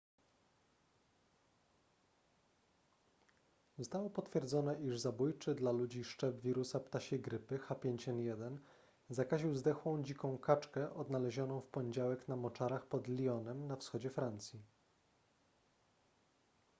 zostało potwierdzone iż zabójczy dla ludzi szczep wirusa ptasiej grypy h5n1 zakaził zdechłą dziką kaczkę odnalezioną w poniedziałek na moczarach pod lyonem na wschodzie francji